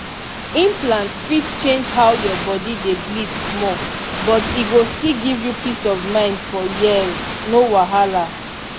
implant fit change how your body dey bleed small but e go still give you peace of mind for years. no wahala!